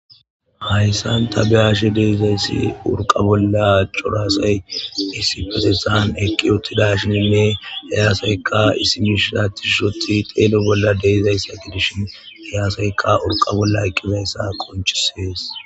Hayssan ta beyashe deizayssi urqa bolla corasay issi fesesan eqqi uttida shininne heyaasayka issimishisattishshothi xeelo bolla deizayssa gidishin heyaasayka urqa bolla eqqizayssa qonchisees.